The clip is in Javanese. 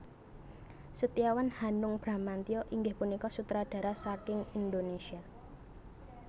Setiawan Hanung Bramantyo inggih punika sutradara saking Indonésia